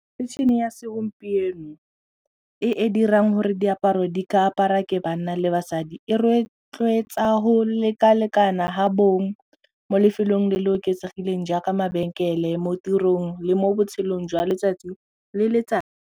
Metšhini ya segompieno e e dirang gore diaparo di ka apara ke banna le basadi e rotloetsa go lekalekana ga bong mo lefelong le le oketsegileng jaaka mabenkele mo tirong le mo botshelong jwa letsatsi le letsatsi.